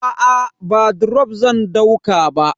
Aa ba drop zan dauka ba.